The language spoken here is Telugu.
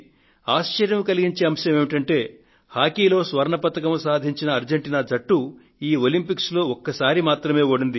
ఆశ్చర్యం కలిగించే అంశం ఏమిటంటే హాకీలో స్వర్ణ పతకాన్ని సాధించిన అర్జెంటీనా జట్టు ఈ ఒలంపిక్స్ లో ఒక్కసారి మాత్రమే ఓడింది